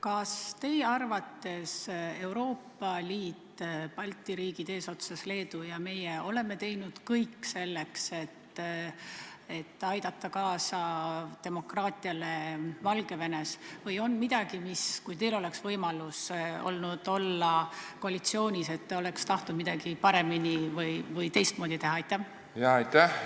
Kas teie arvates Euroopa Liit, sh Balti riigid eesotsas Leeduga on teinud kõik selleks, et aidata kaasa demokraatiale Valgevenes, või on midagi, mis te oleks tahtnud paremini või teistmoodi teha, kui teil oleks võimalus olnud olla koalitsioonis?